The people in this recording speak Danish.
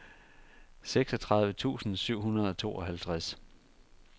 seksogtredive tusind syv hundrede og tooghalvtreds